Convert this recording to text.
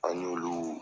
An y'olu